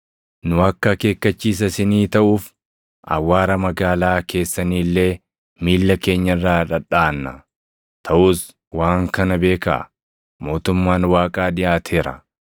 ‘Nu akka akeekkachiisa isinii taʼuuf awwaara magaalaa keessanii illee miilla keenya irraa dhadhaʼanna. Taʼus waan kana beekaa: Mootummaan Waaqaa dhiʼaateera.’